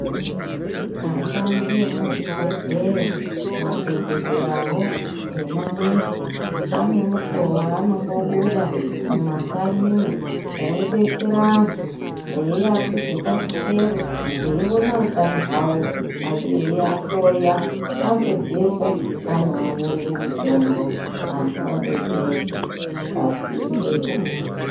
Ashandi emuzvibhedhlera madhokodheyawo ngemanesi anemukuwo waanombobuda mumakanyimwo yeidetsera antu eiakwidze pachikero eiona utano hwawo eiahloya apedzepo anoanyorere mitombo anhu odetsereka pasindepo.